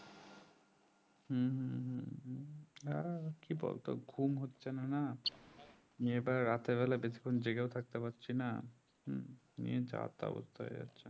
হ্যাঁ কি বলবে ঘুম হচ্ছে না না নিয়ে এবার রাতের বেলায় বেশিক্ষন জেগে ও থাকতে পারছিনা হুম নিয়ে যাতা অবস্থা হয়ে যাচ্ছে